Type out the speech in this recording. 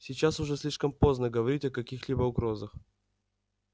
сейчас уже слишком поздно говорить о каких-либо угрозах